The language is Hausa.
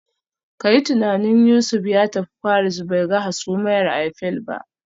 Ka yi tunanin Yusuf ya tafi Paris bai ga hasumiyar Eiffel ba